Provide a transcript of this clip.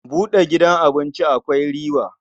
Buɗe gidan abinci akwai riba.